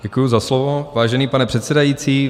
Děkuji za slovo, vážený pane předsedající.